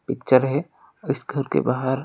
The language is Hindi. पिक्चर है इस घर के बाहर--